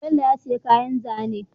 Bello ya siya kayan zane